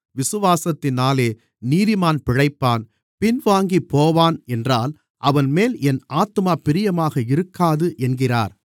விசுவாசத்தினாலே நீதிமான் பிழைப்பான் பின்வாங்கிப்போவான் என்றால் அவன்மேல் என் ஆத்துமா பிரியமாக இருக்காது என்கிறார்